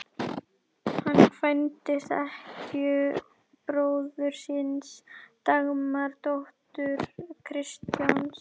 Hann kvæntist ekkju bróður síns, Dagmar, dóttur Kristjáns